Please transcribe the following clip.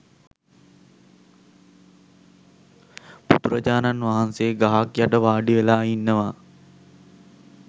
බුදුරජාණන් වහන්සේ ගහක් යට වාඩිවෙලා ඉන්නවා.